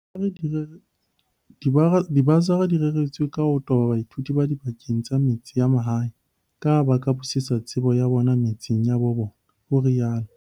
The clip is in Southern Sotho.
Dibasari di reretswe ka ho toba baithuti ba dibakeng tsa metse ya mahae kaha ba ka busetsa tsebo ya bona metseng ya bo bona, o rialo.